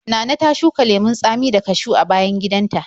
Nana ta shuka lemon tsami da kashiw a bayan gidanta.